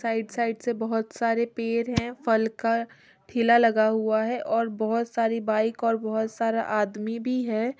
Side side से बहोत सारे पेड़ है फल का ठेला लगा और बहोत सारी बाइक और बहोत सारा आदमी भी है।